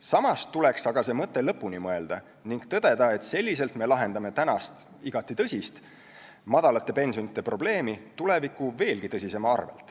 Samas tuleks aga see mõte lõpuni mõelda ning tõdeda, et selliselt me lahendame praegust, igati tõsist madalate pensionide probleemi tuleviku veelgi tõsisema arvel.